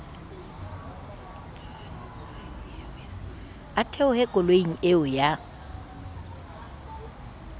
a theohe koloing eo ya